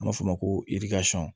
An b'a f'o ma ko